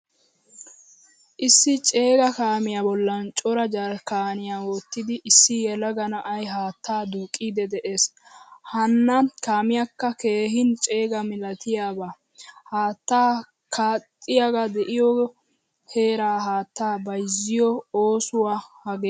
Issi ceegaa kaamiyaa bollan cora jarkkaniyaa wottidi issi yelaga na'ay haattaa duuqqidi de'ees. Hanna kaamiyaka keehin ceegaa milatiyaba. Haattaa qaxiwatoy deiyo heeraa haattaa bayzziyo oosuwaa haggee.